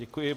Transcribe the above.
Děkuji.